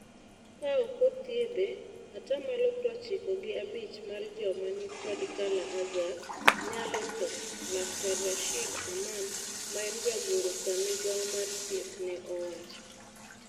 Kaoko thiedhe atamalo prochiko gi abich mar joma nikod kala-azar nyalo tho," laktar Rashid Aman maen jagoro ka migao mar thieth ne owacho.